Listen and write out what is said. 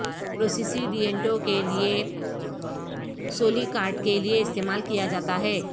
پروسیسیڈینٹو کے لئے سولیکارٹ کے لئے استعمال کیا جاتا ہے